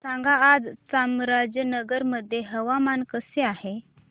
सांगा आज चामराजनगर मध्ये हवामान कसे आहे